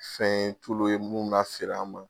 Fɛn ye ye mun ka feere an ma